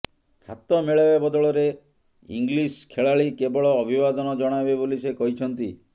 ହାତ ମିଳାଇବା ବଦଳରେ ଇଂଲିସ ଖେଳାଳି କେବଳ ଅଭିବାଦନ ଜଣାଇବେ ବୋଲି ସେ କହିଛନ୍ତି